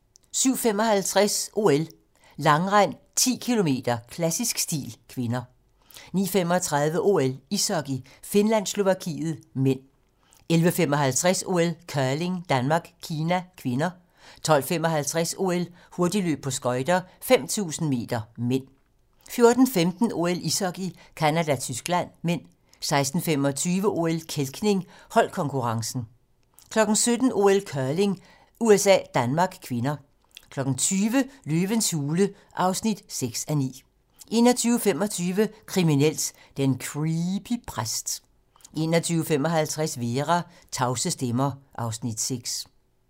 07:55: OL: Langrend - 10 km, klassisk stil (k) 09:35: OL: Ishockey - Finland-Slovakiet (m) 11:55: OL: Curling - Danmark-Kina (k) 12:55: OL: Hurtigløb på skøjter - 5000 m (m) 14:15: OL: Ishockey - Canada-Tyskland (m) 16:25: OL: Kælkning - holdkonkurrencen 17:00: OL: Curling - USA-Danmark (k) 20:00: Løvens hule (6:9) 21:25: Kriminelt: Den creepy præst 21:55: Vera: Tavse stemmer (Afs. 6)